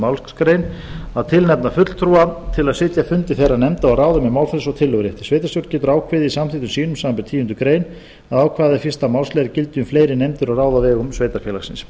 málsgrein að tilnefna fulltrúa til að sitja fundi þeirra nefnda og ráða með málfrelsi og tillögurétti sveitarstjórn getur ákveðið í samþykktum sínum samanber tíundu grein að ákvæði fyrsta málsliðar gildi um fleiri nefndir og ráð á vegum sveitarfélagsins